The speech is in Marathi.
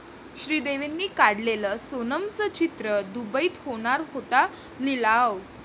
श्रीदेवींनी काढलेलं सोनमचं चित्र, दुबईत होणार होता लिलाव